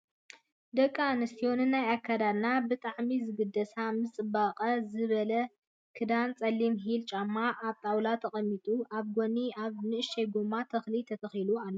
ደቂ ኣንስትዮ ንናይ ኣከዳድንአን ብጣሚ ዝግደሳ ምስ ፅብቅ ዝበለ ክዳን ፀሊም ሂል ጫማ ኣብ ጣውላ ተቀሚጡ ኣብ ጎኑ ኣብ ንእሽተይ ጎማ ተክሊ ተተኪሉ ኣሎ ።